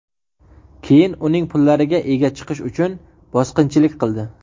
keyin uning pullariga ega chiqish uchun bosqinchilik qildi.